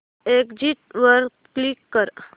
exit वर click कर